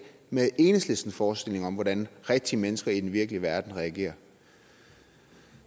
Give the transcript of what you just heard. med enhedslistens forestilling om hvordan rigtige mennesker i den virkelige verden reagerer